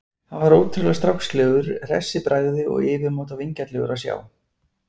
Hann var ótrúlega strákslegur, hress í bragði og yfirmáta vingjarnlegur að sjá.